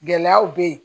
Gɛlɛyaw bɛ yen